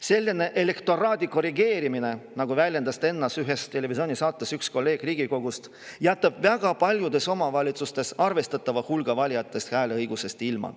Selline elektoraadi korrigeerimine, nagu väljendas ennast ühes televisioonisaates üks kolleeg Riigikogust, jätab väga paljudes omavalitsustes arvestatava hulga valijatest hääleõigusest ilma.